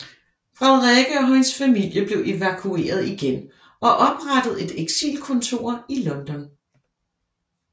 Frederikke og hendes familie blev evakueret igen og oprettede et eksilkontor i London